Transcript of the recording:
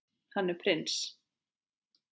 Hann er prins.